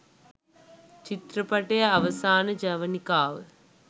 චිත්‍රපටය අවසාන ජවනිකාව